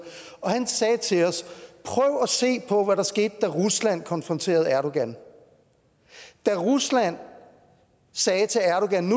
han sagde til os prøv at se på hvad der skete da rusland konfronterede erdogan da rusland sagde til erdogan at